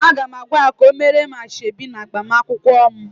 Aga m agwa ya ka o meere m asoebi na agbamakwụkwọ m